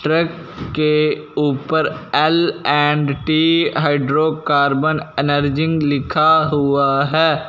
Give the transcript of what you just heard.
Truck के ऊपर L and T hydrocarbon अनर्जींग लिखा हुआ हैं।